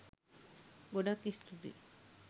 ගොඩක් ස්තූතියි